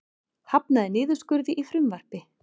Hafnar niðurskurði í frumvarpi